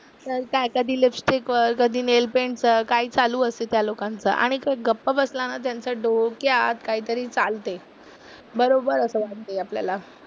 तर काय कधी लिपस्टिक वर, कधी नेलपेंट चं काही चालू असते त्या लोकांचं. आणि ते गप्प बसला ना त्यांचं डोक्यात काहीतरी चालते. बरोबर असं वाटते आपल्याला.